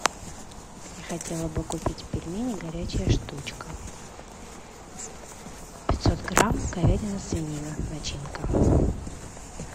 я хотела бы купить пельмени горячая штучка пятьсот грамм говядина свинина начинка